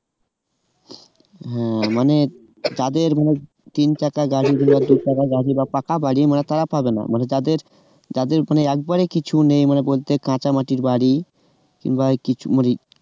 হ্যাঁ মানে যাদের মানে তিন চাকা গাড়ি বা পাকা বাড়ি মানে তারা পাবে না মানে যাদের যাদের মানে একবারে কিছুই নেই মানে বলতে গেলে কাঁচা মাটির বাড়ি